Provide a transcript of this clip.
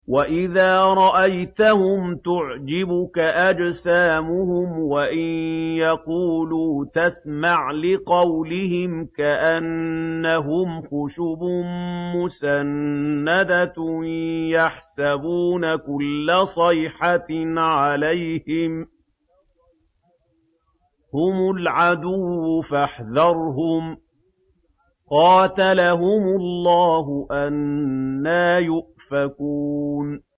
۞ وَإِذَا رَأَيْتَهُمْ تُعْجِبُكَ أَجْسَامُهُمْ ۖ وَإِن يَقُولُوا تَسْمَعْ لِقَوْلِهِمْ ۖ كَأَنَّهُمْ خُشُبٌ مُّسَنَّدَةٌ ۖ يَحْسَبُونَ كُلَّ صَيْحَةٍ عَلَيْهِمْ ۚ هُمُ الْعَدُوُّ فَاحْذَرْهُمْ ۚ قَاتَلَهُمُ اللَّهُ ۖ أَنَّىٰ يُؤْفَكُونَ